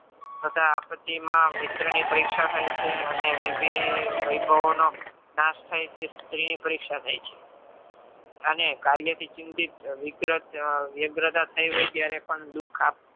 તથા આપત્તિમાં મિત્ર ની પરીક્ષા થાય છે અને વિધિ વૈભાવોનો નાશ થાય છે. સ્ત્રી ની પરીક્ષા થાય છે. અને કાર્ય થી થઈ હોય ત્યારે પણ દુઃખ